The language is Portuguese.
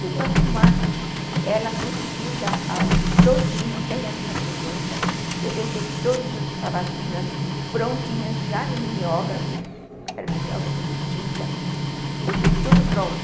tudo arrumado, ela conseguiu dar aula todinha, sem a minha presença, eu deixei todas as sabatinas prontinhas já no mimeógrafo, era mimeógrafo de tinta, deixei tudo pronto.